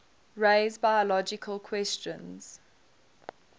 raise biological questions